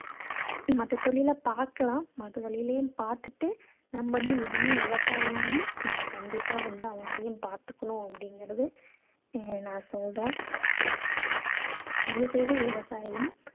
மத்த தொழிலை பார்க்கலாம். மத்த தொழிலையும் பார்த்துகிட்டு நம்ம வந்து இதையும் விவசாயியையும் நம்ம கண்டிப்பா வந்து அவங்களையும் பார்த்துக்கணும் அப்படீங்கறது இங்க நான் சொல்றேன். தயவு செய்து விவசாயியையும்